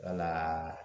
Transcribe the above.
Wala